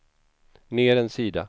ner en sida